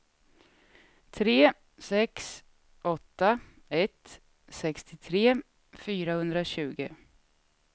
tre sex åtta ett sextiotre fyrahundratjugo